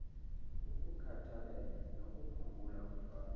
ukukhathalela nokuphungula umthwalo